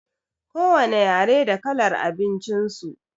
Ko wane yare da kalar abincin su.